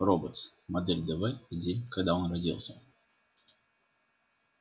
роботс модель дв и день когда он родился